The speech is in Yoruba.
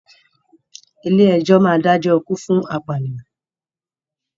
Ilé ẹjọ́ máa ń dájọ́ ikú fún apànìyàn.